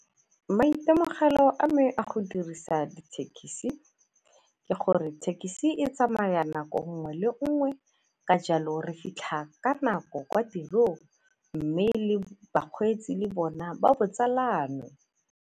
Maitemogelo a me a go dirisa dithekisi ke gore thekisi e tsamaya nako nngwe le nngwe ka jalo re fitlha ka nako kwa tiro mme le bakgweetsi le bona ba botsalano.